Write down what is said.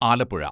Alappuzha